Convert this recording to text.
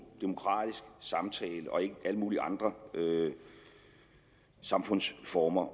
demokratiske samtale og ikke alle mulige andre samfundsformers